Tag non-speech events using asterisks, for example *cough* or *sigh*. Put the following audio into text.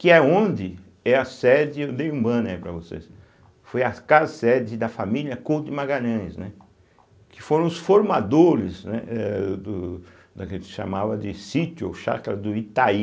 Que é onde é a sede, eu dei um banner aí para vocês, foi a casa sede da família Couto de Magalhães, né, que foram os formadores, né é do daquele *unintelligible* chamava de sítio ou chácara do Itaí.